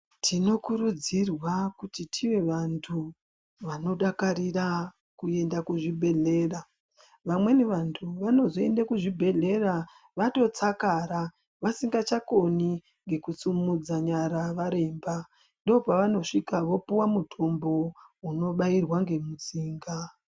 Tinokurudzirwa kuti tive vantu vanodakarira kuenda kuzvibhedhlera. Vamweni vantu vanozoenda kuzvibhedhlera vatotsakara vasingachakoni ngekusimudza nyara varemba. Ndopavanosvika vapuwa mutombo unobairwa ngemutsinga.